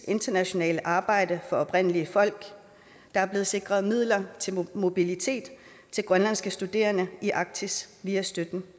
internationale arbejde for oprindelige folk der er blevet sikret midler til mobilitet til grønlandske studerende i arktis via støtten